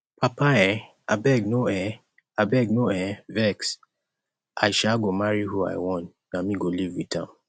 papa abeg no um abeg no um vex i um go marry who i want na me go live with am